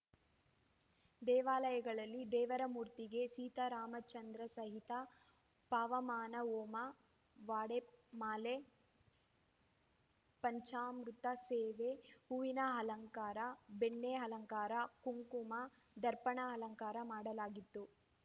ದೇವಾಲಯಗಳಲ್ಲಿ ದೇವರ ಮೂರ್ತಿಗೆ ಸೀತಾರಾಮಚಂದ್ರ ಸಹಿತ ಪವಮಾನ ಹೋಮ ವಾಡೆಮಾಲೆ ಪಂಚಾಮೃತ ಸೇವೆ ಹೂವಿನ ಅಲಂಕಾರ ಬೆಣ್ಣೆ ಅಲಂಕಾರ ಕುಂಕುಮ ದರ್ಪಣ ಅಲಂಕಾರ ಮಾಡಲಾಗಿತ್ತು